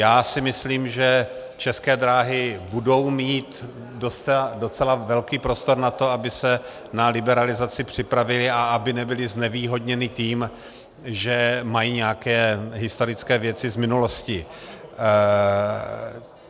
Já si myslím, že České dráhy budou mít docela velký prostor na to, aby se na liberalizaci připravily a aby nebyly znevýhodněny tím, že mají nějaké historické věci z minulosti.